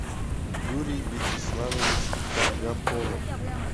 юрий вячеславович каргаполов